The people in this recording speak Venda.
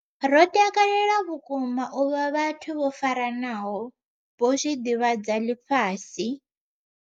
Ro takalela vhukuma u vha vhathu vho faranaho, vho zwi ḓivhadza ḽifhasi.